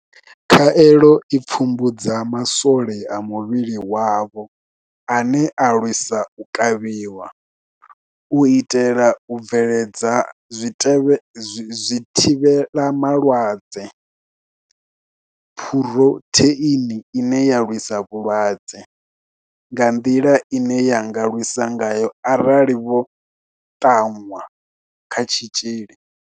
Khaelo i pfumbudza ma swole a muvhili wavho ane a lwisa u kavhiwa, u itela u bveledza zwithivhela malwadze phurotheini ine ya lwisa vhulwadze nga nḓila ine ya nga lwisa ngayo arali vho ṱanwa kha tshitzhili.